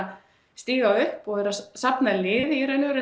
staðið upp og safnað liði í raun og veru